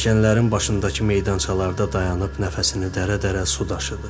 Pilləkənlərin başındakı meydançalarda dayanıb nəfəsini dərc-dərcə su daşıdı.